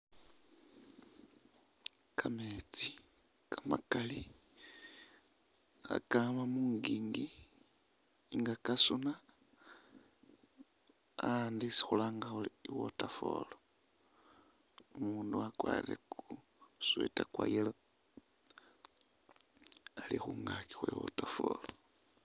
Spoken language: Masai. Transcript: Kametsi kamakali kakama munjinji nga kasuna a’andu isi khulanga khuri i’waterfall , umundu wakwerire ku sweater kwa’ yellow ali khungakyi khwe waterfall.